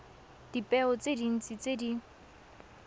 dipeo tse dintsi tse di